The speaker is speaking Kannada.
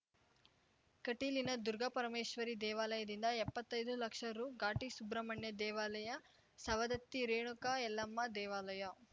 ಕಟೀಲಿನ ದುರ್ಗಾಪರಮೇಶ್ವರಿ ದೇವಾಲಯದಿಂದ ಎಪ್ಪತ್ತೈದು ಲಕ್ಷ ರು ಘಾಟಿ ಸುಬ್ರಹ್ಮಣ್ಯ ದೇವಾಲಯ ಸವದತ್ತಿ ರೇಣುಕಾ ಯಲ್ಲಮ್ಮ ದೇವಾಲಯ